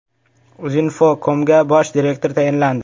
Uzinfocom’ga bosh direktor tayinlandi.